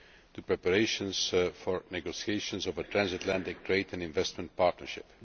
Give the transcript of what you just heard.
to preparations for negotiations of a Transatlantic Trade and Investment Partnership.